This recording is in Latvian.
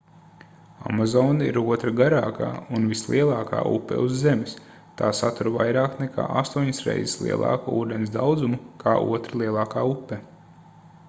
amazone ir otra garākā un vislielākā upe uz zemes tā satur vairāk nekā 8 reizes lielāku ūdens daudzumu kā otra lielākā upe